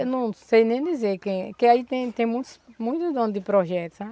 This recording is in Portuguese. Eu não sei nem dizer quem, que aí tem tem muitos muitos donos de projetos, sabe?